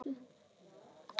Við eigum að vera saman.